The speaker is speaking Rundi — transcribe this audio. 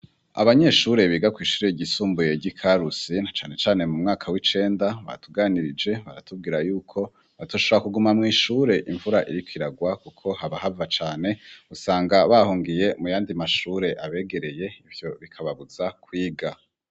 Abanyeshure biga kw'ishure ryisumbuye y'i Karusi na cane cane mu mwaka w'icenda, batuganirije baratubwira yuko batoshobora kuguma mw'ishure imvura iriko iragwa kuko haba hava cane, usanga bahungiye mu yandi mashure abegereye, ivyo bikababuza kwiga.